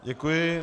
Děkuji.